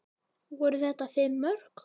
Voru þetta fimm mörk?